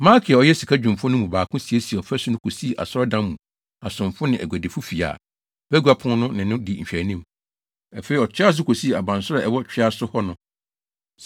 Malkia a ɔyɛ sikadwumfo no mu baako siesiee ɔfasu no kosii Asɔredan mu asomfo ne aguadifo fi a Bagua Pon no ne no di nhwɛanim. Afei ɔtoa so kosii abansoro a ɛwɔ twea so hɔ no.